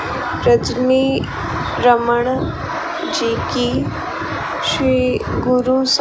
रजनी रमन जी की श्री गुरु स --